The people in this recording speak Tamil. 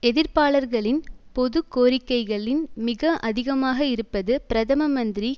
எதிர்ப்பாளர்களின் பொது கோரிக்கைகளின் மிக அதிகமாக இருப்பது பிரதம மந்திரி